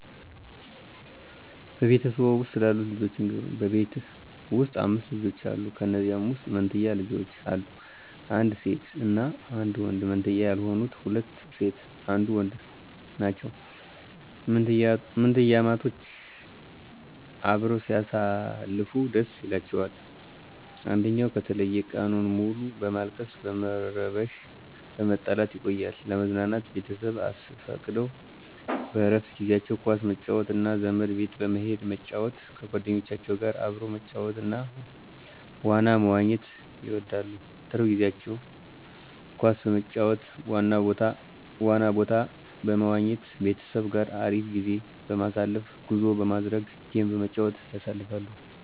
በቤተሰብዎ ውስጥ ስላሉት ልጆች ይንገሩን? በቤት ውስጥ 5 ልጆች አሉ ከንዚያም ውስጥ መንትያ ልጆች አሉ አንድ ሴት እና አንድ ወንድ መንትያ ያልሆኑት ሁለት ሴት አንዱ ወንድ ናቸው። ምንትያማቾች አበረው ሲያሳልፉ ደስ ይላቸዋል አንድኝው ከተለየ ቀኑን ሙሉ በማልቀስ በመረበሺ በመጣላት ይቆያሉ። ለመዝናናት ቤተሰብ አስፈቅደው በረፍት ጊዜአቸው ኳስ መጫወት እና ዘመድ ቤት በመሂድ መጫወት ከጎደኞቻቸው ጋር አብረው መጫወት እና ዋና መዋኝት ይወዳሉ። ትርፍ ጊዜቸውን ኳስ በመጫወት ዋና ቦታ በመዋኝት ቤተሰብ ጋር አሪፍ ጊዜ በማሳለፍ ጉዞ በማድረግ ጌም በመጫወት ያሳልፋሉ።